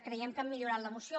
creiem que han millorat la moció